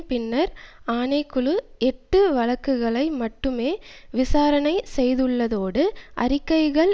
பின்னர் ஆணை குழு எட்டு வழக்குகளை மட்டுமே விசாரணை செய்துள்ளதோடு அறிக்கைகள்